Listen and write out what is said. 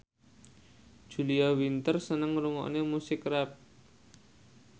Julia Winter seneng ngrungokne musik rap